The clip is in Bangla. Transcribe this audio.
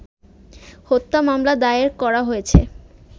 হত্যা মামলা দায়ের করা হয়েছে